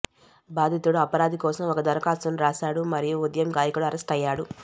బాధితుడు అపరాధి కోసం ఒక దరఖాస్తును రాశాడు మరియు ఉదయం గాయకుడు అరెస్టయ్యాడు